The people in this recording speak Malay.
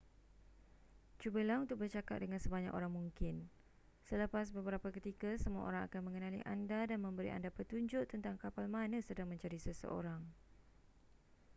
cubalah untuk bercakap dengan sebanyak orang mungkin selepas beberapa ketika semua orang akan mengenali anda dan memberi anda petunjuk tentang kapal mana sedang mencari seseorang